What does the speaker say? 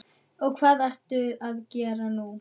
Og hvað ertu að gera núna?